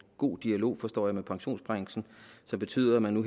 god dialog forstår jeg med pensionsbranchen som betyder at man nu